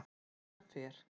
En hann fer.